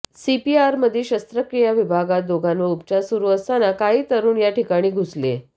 सीपीआरमधील शस्त्रक्रिया विभागात दोघांवर उपचार सुरू असताना काही तरुण या ठिकाणी घुसले